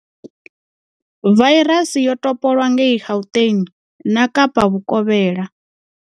Vairasi yo topolwa ngei Gauteng na Kapa Vhukovhela.